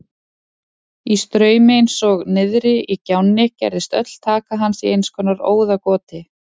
Í straumi eins og niðri í gjánni gerðist öll taka hans í einskonar óðagoti.